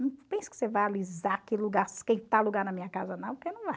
Não pense que você vai alisar aquele lugar, esquentar lugar na minha casa não, porque não vai.